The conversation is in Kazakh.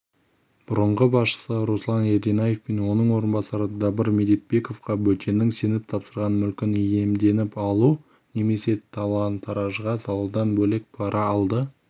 бұрынғы басшысы руслан ерденаев пен оның орынбасары дабыр медетбековке бөтеннің сеніп тапсырған мүлкін иемденіп алу немесе талан-таражға салудан бөлек пара алды